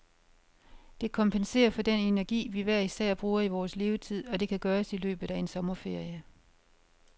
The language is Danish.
Det kompenserer for den energi, vi hver især bruger i vores levetid, og det kan gøres i løbet af en sommerferie.